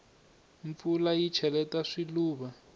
mpfula yi cheleta swiluva